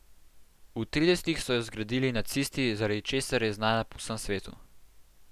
V tridesetih so jo zgradili nacisti, zaradi česar je znana po vsem svetu.